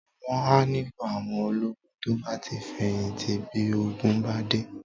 Wọn a nílò àwọn ológun to bá ti feyinti bí ogun bá dé